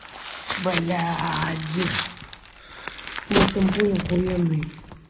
бля один комн помины